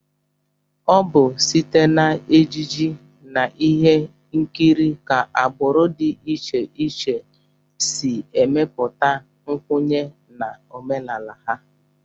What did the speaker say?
Ọ bụ site n'ejije na ihe nkiri ka agbụrụ dị iche iche si emepụta nkwenye na omenala ha